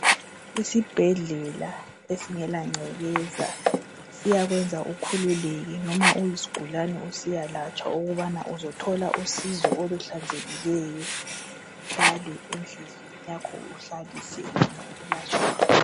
Isibhedlela esingela ncekeza, siyakwenza ukhululeke noma uyisgulani usiya latshwa ukubana uzathola usizo okuhlanzekileyo, uhlale endlini yakho uhlaliseke ngokulatshwa kwakho.